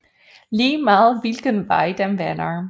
Lige meget hvilken vej den vender